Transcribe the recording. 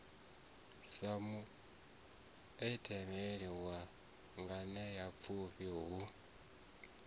sa muanetsheli wa nganeapfhufhi hu